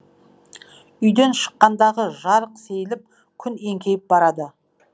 үйден шыққандағы жарық сейіліп күн еңкейіп барады